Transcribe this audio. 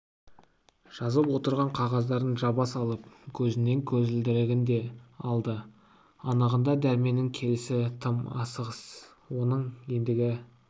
жазып отырған қағаздарын жаба салып көзінен көзілдірігін де алды анығында дәрменнің келісі тым асығыс оның ендігі